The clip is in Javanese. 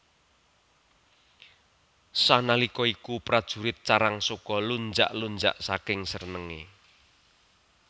Sanalika iku prajurit Carangsoka lunjak lunjak saking senenge